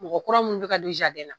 Mɔgɔ kura munnu bi ka don na